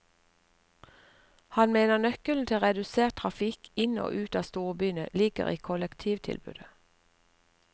Han mener nøkkelen til redusert trafikk inn og ut av storbyene ligger i kollektivtilbudet.